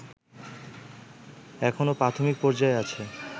এখনো প্রাথমিক পর্যায়ে আছে